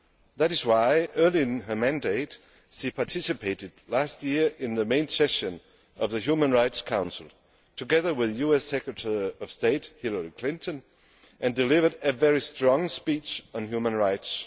This is why, early in her mandate, she participated last year in the main session of the Human Rights Council together with US Secretary of State Hilary Clinton and delivered a very strong speech on human rights.